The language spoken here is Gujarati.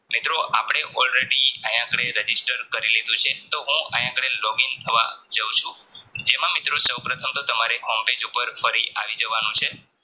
મિત્રો આપડે all ready આયા આપડે Register કરી લીધું છે તો હૂ આયા આગળ Login થવા જવ છું જેમાં મિત્રો સૌપ્રથમ તો તમારે home page ઉપર ફરી આવી જવાનું છે.